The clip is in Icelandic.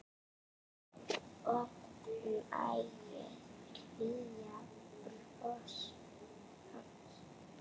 Oft nægði hlýja brosið hans.